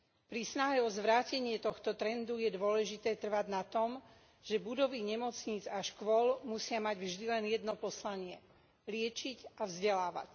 Pri snahe o zvrátenie tohto trendu je dôležité trvať na tom, že budovy nemocníc a škôl musia mať vždy len jedno poslanie liečiť a vzdelávať.